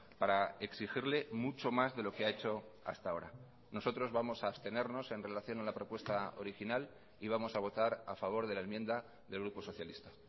para exigirle mucho más de lo que ha hecho hasta ahora nosotros vamos a abstenernos en relación a la propuesta original y vamos a votar a favor de la enmienda del grupo socialista